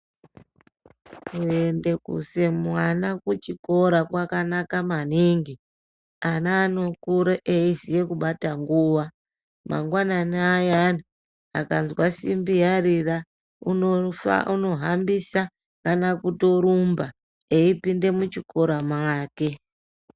Kuendese kuise mwana kuchikora kwakanaka maningi .Ana anokure eiziye kubata nguwa. Mangwanani ayani, akanzwa simbi yarira, unofa unohambisa kana kutorumba, eipinde muchikora make.